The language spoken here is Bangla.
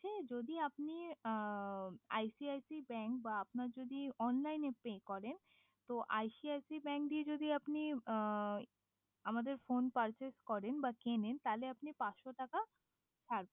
যদি আপনি ICIC ব্যাঙ্ক বা আপনার যদি অনলাইনেই পে করেন তো ICIC ব্যাঙ্ক দিয়ে যদি আপনি আমাদের ফোন কর্সেস করেন বা কেনেন আপনি পান সো টাকা